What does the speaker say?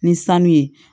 Ni sanu ye